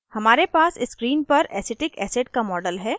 हमारे पास screen पर acetic acid का model है